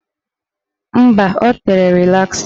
Mba, o tere rịlasa.